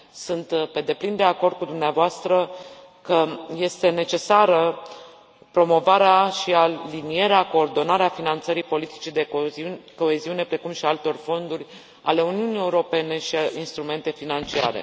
Sunt pe deplin de acord cu dumneavoastră că este necesară promovarea și alinierea, coordonarea finanțării politicii de coeziune, precum și a altor fonduri ale Uniunii Europene și instrumente financiare.